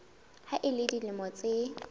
ha a le dilemo tse